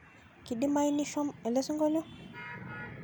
kedimayu nishom elesingolio